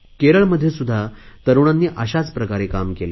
केरळमध्ये सुध्दा तरुणांनी अशाच प्रकारे काम केले